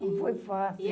Não foi fácil.